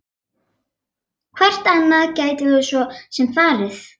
Hvert annað gætum við svo sem farið?